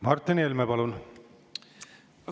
Martin Helme, palun!